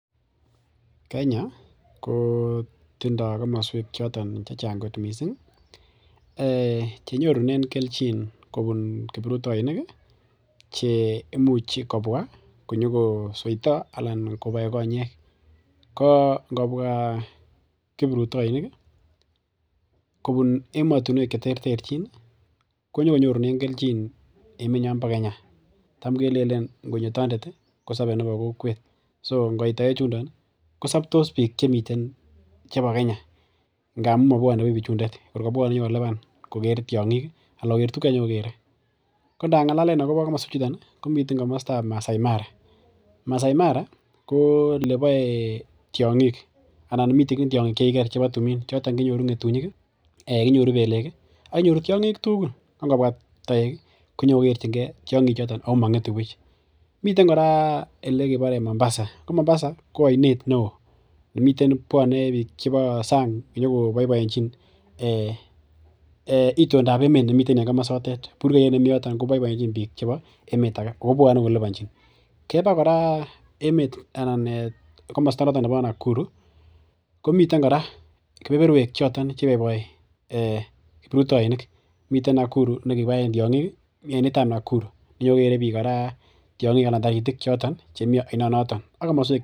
Kenya kotindoo kamasuek chechang' kot missing' ih. Chenyorunenkobun kiruptoinik ih cheimuche kobwa konyokoseita koseitaa anan koboiboenchi ko ingobwa kiprutoinik ih kobun emotinuek cheterterchin, konyogo nyorunen kelchin emetnyon bo kenyatam kelelen ingonyotandet ih kosabe nebo kokwet so ingoit taek chundo kosabtos bik chebo Kenya ngamuun mabuane buch bichundet , ingobuane konyokoluban koker tiang'ik ih anan konyokoker tuguk chekanyikokere. Konda ngalalen akobo komosuek chuton ih, komi kamastab Masai Mara , Masai Mara ko elebae tiang'ik anan miten tiang'ik chekikiker choton kouu ng'etunyik ih konyoru pelek ih , akenyoru tiang'ik tugul ko ingobua taek ih konyoko ikerchike tiang'ik choton Ako miten kora elekibare Mombasa ko Mombasa ko ainet neoo nemiten boune bik chebo sang' konyoko baibaenchin itondab emeet nemiten en kamasotet burkeyet nemi yoton konyoko baibaenchin bik keba kora emeet komosta noton nebo Nakuru, komiten kora kebeberuek choton cheibaibai kiprutoinik, miten ainetab Nakuru, inyokokere bik kora tiang'ik ak taratik chemi kasoto.